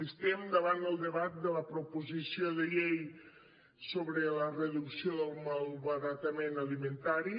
estem davant el debat de la proposició de llei sobre la reducció del malbaratament alimentari